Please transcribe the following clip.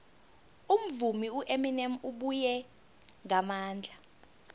umvumi ueminem ubuye ngamandla